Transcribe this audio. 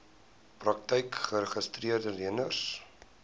praktyke geregistreede leners